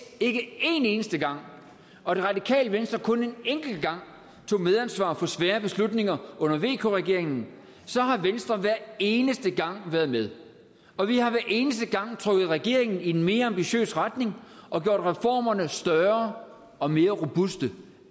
ikke en eneste gang og det radikale venstre kun en enkelt gang tog medansvar for svære beslutninger under vk regeringen så har venstre hver eneste gang været med og vi har hver eneste gang trukket regeringen i en mere ambitiøs retning og gjort reformerne større og mere robuste